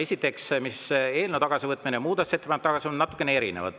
Esiteks, eelnõu tagasivõtmine ja muudatusettepaneku tagasivõtmine on natukene erinevad.